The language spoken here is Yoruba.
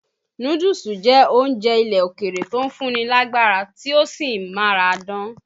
Núdúùsù jẹ́ oúnjẹ ilẹ́ òkèrè tò ń fún ni lágbárá, tí ó sì ń máradán.